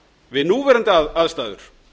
við núverandi aðstæður